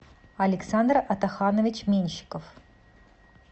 александр атаханович меньшиков